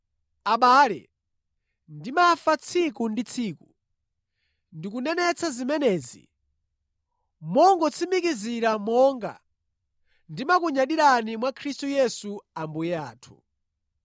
Abale, ndimafa tsiku ndi tsiku, ndikunenetsa zimenezi, mongotsimikizira monga ndimakunyadirani mwa Khristu Yesu Ambuye athu.